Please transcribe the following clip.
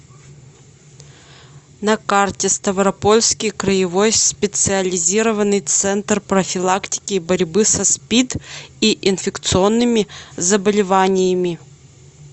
на карте ставропольский краевой специализированный центр профилактики и борьбы со спид и инфекционными заболеваниями